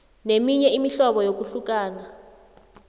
neminye imihlobo yokuhlukana